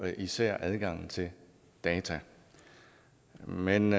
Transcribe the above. især adgang til data men